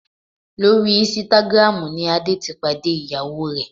Lórí Instagram ni Adé ti pàdé ìyàwó rẹ̀